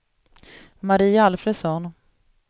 Marie Alfredsson